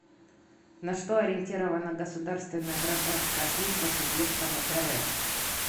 на что ориентирована государственная гражданская служба субъектов рф